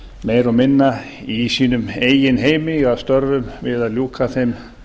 meira og minna í sínum eigin heimi í störfum við að ljúka þeim